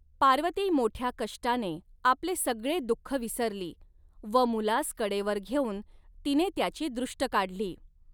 पार्वती मोठया कष्टाने आपले सगळे दुःख विसरली व मुलास कडेवर घेवून तिने त्याची दृष्ट काढली.